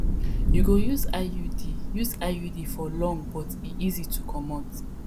you go use iud use iud for long but e easy to comot